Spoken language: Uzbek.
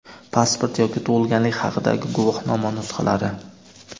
pasport yoki tug‘ilganlik haqidagi guvohnoma nusxalari.